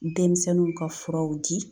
Denmisɛnninw ka furaw di